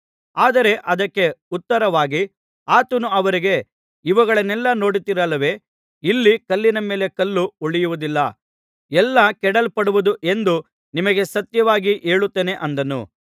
ಆದರೆ ಅದಕ್ಕೆ ಉತ್ತರವಾಗಿ ಆತನು ಅವರಿಗೆ ಇವುಗಳನ್ನೆಲ್ಲಾ ನೋಡುತ್ತೀರಲ್ಲವೇ ಇಲ್ಲಿ ಕಲ್ಲಿನ ಮೇಲೆ ಕಲ್ಲು ಉಳಿಯುವುದಿಲ್ಲ ಎಲ್ಲಾ ಕೆಡವಲ್ಪಡುವುದು ಎಂದು ನಿಮಗೆ ಸತ್ಯವಾಗಿ ಹೇಳುತ್ತೇನೆ ಅಂದನು